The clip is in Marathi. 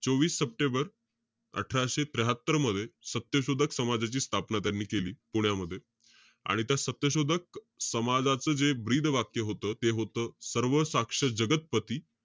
चोवीस सप्टेंबर अठराशे त्र्याहात्तर मध्ये, सत्यशोधक समाजाची स्थापनात्यांनी केली, पुण्यामध्ये. आणि त्या सत्यशोधक समाजाचं जे ब्रीदवाक्य होतं. ते होतं, सर्वसाक्ष जगत्पती.